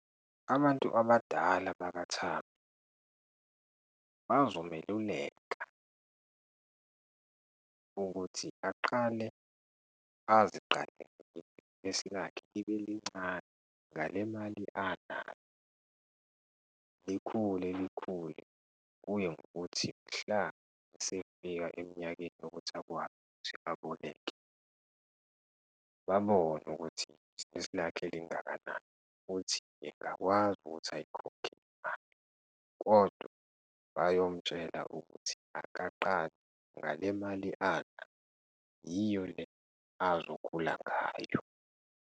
Abantu abadala bakaThabo, bazomeluleka ukuthi aqale aziqalele ibhizinisi lakhe libe lincane ngale mali anayo, likhule, likhule kuye ngokuthi mhla esefika eminyakeni yokuthi akwazi ukuthi aboleke, babone ukuthi ibhizinisi lakhe lingakanani futhi engakwazi ukuthi ayikhokhe imali. Kodwa bayomtshela ukuthi akaqale ngale mali anayo yiyole azokhula ngayo.